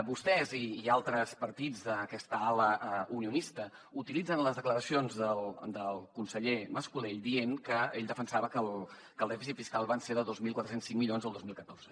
vostès i altres partits d’aquesta ala unionista utilitzen les declaracions del conseller mas colell dient que ell defensava que el dèficit fiscal va ser de dos mil quatre cents i cinc milions el dos mil catorze